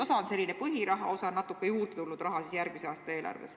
Osa on selline põhiraha, osa on järgmise aasta eelarvest natuke juurde tulnud raha.